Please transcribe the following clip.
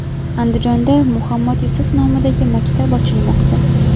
Andijonda Muhammad Yusuf nomidagi maktab ochilmoqda.